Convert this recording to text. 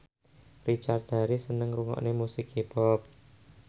Richard Harris seneng ngrungokne musik hip hop